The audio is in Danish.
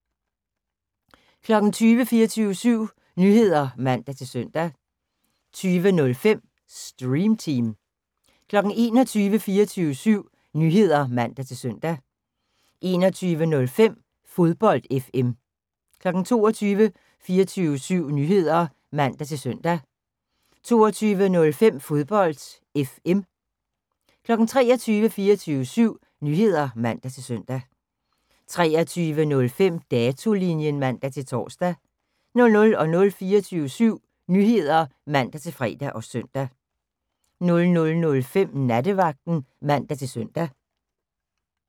20:00: 24syv Nyheder (man-søn) 20:05: Stream Team 21:00: 24syv Nyheder (man-søn) 21:05: Fodbold FM 22:00: 24syv Nyheder (man-søn) 22:05: Fodbold FM 23:00: 24syv Nyheder (man-søn) 23:05: Datolinjen (man-tor) 00:00: 24syv Nyheder (man-fre og søn) 00:05: Nattevagten (man-søn)